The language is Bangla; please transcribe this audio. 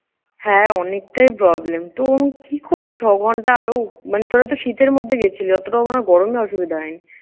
হ্যাঁ, অনেকটাই problem তো কি করলি ছ ঘন্টা আরও মানে তোরাতো শীতের মধ্যে গেছিলি। অতোটা মনে হয় গরমে অসুবিধা হয়নি?